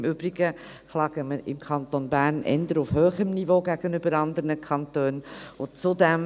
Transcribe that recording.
Im Übrigen beklagen wir uns im Kanton Bern, im Vergleich zu anderen Kantonen, eher auf hohem Niveau.